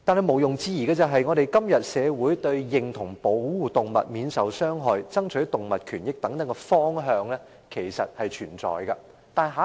毋庸置疑的是，認同保護動物免受傷害、爭取動物權益等方向，在今天的香港社會是存在的。